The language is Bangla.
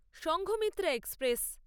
সংঘমিত্রা এক্সপ্রেস